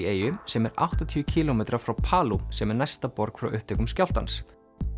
eyju sem er áttatíu kílómetra frá sem er næsta borg frá upptökum skjálftans